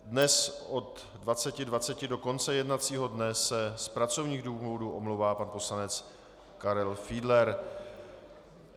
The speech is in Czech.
Dnes od 20.20 do konce jednacího dne se z pracovních důvodů omlouvá pan poslanec Karel Fiedler.